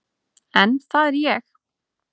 En það er ég.